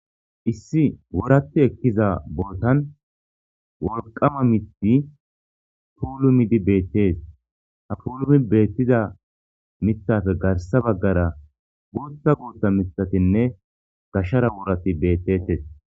Issi woraatti ekkiza bootan wolqama miththi puulumidi beetees ha puulumi beetiza miththappe garssa bagaara guuththa guuththa miththatinne gashera worati beetetees.